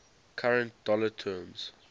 current dollar terms